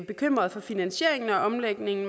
bekymrede for finansieringen og omlægningen